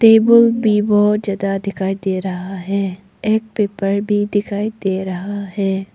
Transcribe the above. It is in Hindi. टेबल भी बहोत ज्यादा दिखाई दे रहा है एक पेपर भी दिखाई दे रहा है।